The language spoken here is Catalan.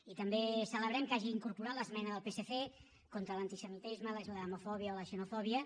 i també celebrem que hagi incorporat l’esmena del psc contra l’antisemitisme la islamofòbia o la xenofòbia